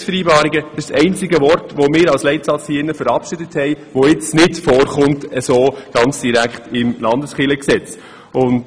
Der Begriff «Leistungsvereinbarung» ist der einzige Begriff, welchen wir als Leitsatz verabschiedet haben und der jetzt nicht direkt im Landeskirchengesetz vorkommt.